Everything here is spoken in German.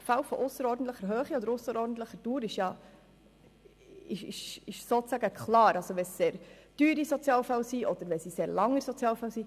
Fälle von ausserordentlicher Höhe oder ausserordentlicher Dauer scheinen klar: sehr teure oder sehr lang dauernde Sozialfälle.